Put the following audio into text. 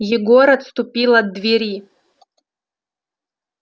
егор отступил от двери